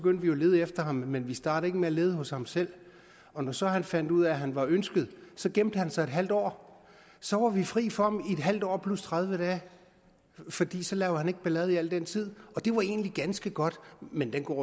lede efter ham men vi startede ikke med at lede hos ham selv og når så han fandt ud af at han var ønsket gemte han sig i en halv år så var vi fri for ham i en halv år plus tredive dage fordi så lavede han ikke ballade i al den tid og det var egentlig ganske godt men den går